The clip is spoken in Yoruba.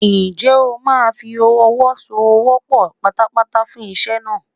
Ǹjẹ́ o máa fi ọwọ́ so ọwọ́ pọ̀ pátápátá fún iṣẹ́ náà?